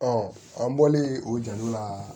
an bɔlen o jalo la